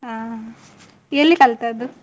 ಹಾ, ಎಲ್ಲಿ ಕಲ್ತದ್ದು?